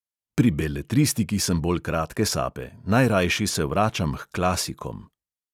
Pri beletristiki sem bolj kratke sape, najrajši se vračam h klasikom.